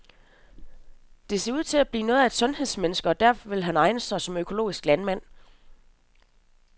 Det ser ud til at blive noget af et sundhedsmenneske, og derfor vil han egne sig som økologisk landmand.